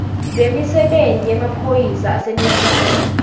lwemisebenti yemaphoyisa aseningizimu